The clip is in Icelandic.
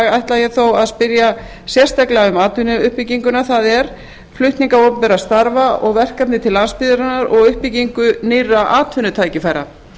ætla ég þó að spyrja sérstaklega um atvinnuuppbygginguna það er flutning opinberra starfa og verkefni til landsbyggðarinnar og uppbyggingu nýrra atvinnutækifæra